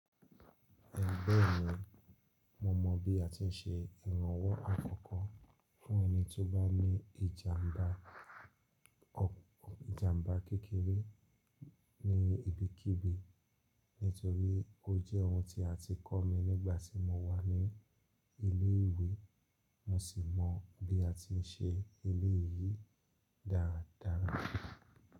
Ẹgbẹ́ mi, mo mó bí a ti ń ṣe ìrànwò àkọ́kọ́ fún ẹni tó bá ní ìjàmbá kẹ́kẹ́re ní ibikíbi, nítorí ó jẹ́ ohun tí a ti kọ́ mi nígbà tí mo wà ní ilé ìwé, mo sì mọ bí a ti ń ṣe eléyìí dáradára.